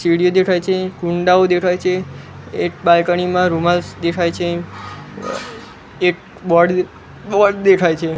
સીડી દેખાય છે કુંડાઓ દેખાય છે એક બાલ્કની માં રૂમાલ્સ દેખાય છે એક બોર્ડ બોર્ડ દેખાય છે.